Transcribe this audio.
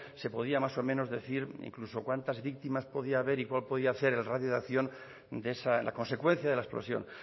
se podía más o menos decir incluso cuántas víctimas podría haber y cuál podría ser el radio de acción de esa la consecuencia de la explosión